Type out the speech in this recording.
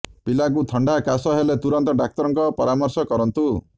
ପିଲାଙ୍କୁ ଥଣ୍ଡା କାଶ ହେଲେ ତୁରନ୍ତ ଡାକ୍ତରଙ୍କ ପରାମର୍ଶ କରନ୍ତୁ